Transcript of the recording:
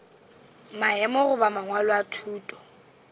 maemo goba mangwalo a thuto